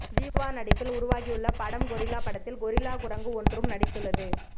ஜீவா நடிப்பில் உருவாகியுள்ள படம் கொரில்லா படத்தில் கொரில்லா குரங்கு ஒன்றும் நடித்துள்ளது